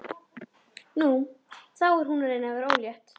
Nú, þá er hún að reyna að verða ólétt.